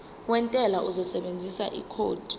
wentela uzosebenzisa ikhodi